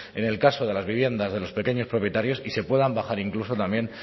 en el caso de las viviendas de los pequeños propietarios y se puedan bajar incluso también